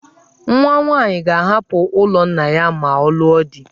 Nwaanyị ga-ahapụ ụlọ nna ya ma ọ lụọ di.